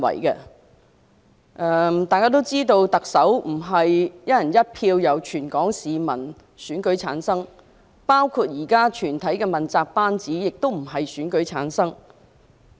眾所周知，特首並非由全港市民"一人一票"選出，現時整個問責班子亦不是經選舉產生。